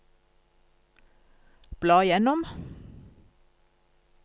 bla gjennom